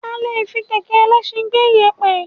A le fi kẹ̀kẹ́ ẹlẹsin gbé ìyèpẹ̀